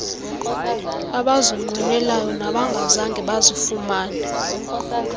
abazinqwenelayo nabangazange bazifumane